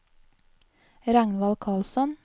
Ragnvald Karlsson